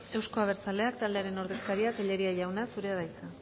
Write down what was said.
euzko abertzaleak taldearen ordezkaria tellería jauna zurea da hitza